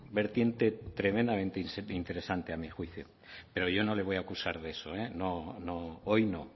vertiente tremendamente interesante a mi juicio pero yo no le voy a acusar de eso eh no hoy no